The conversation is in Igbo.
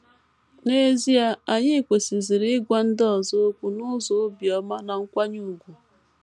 N’ezie, anyị kwesịziri ịgwa ndị ọzọ okwu n’ụzọ obiọma na nkwanye ùgwù.